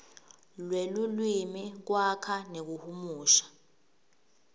lwelulwimi kwakha nekuhumusha